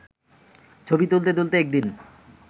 ছবি তুলতে তুলতে একদিন